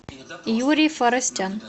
юрий форостян